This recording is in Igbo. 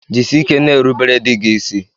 Jisike n'erubere dị gị ịsị.